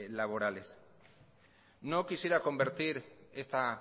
laborales no quisiera convertir esta